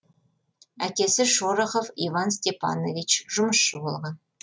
әкесі шорохов иван степанович жұмысшы болған